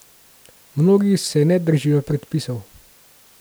Mnogi se ne držijo predpisov.